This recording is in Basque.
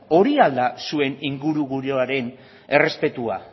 hori al da zuen ingurugiroaren errespetua